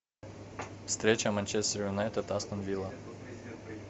встреча манчестер юнайтед астон вилла